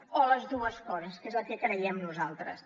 o les dues coses que és el que creiem nosaltres